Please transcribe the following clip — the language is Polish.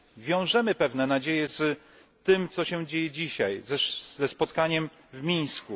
Wiążemy pewne nadzieje z tym, co się dzieje dzisiaj, ze spotkaniem w Mińsku.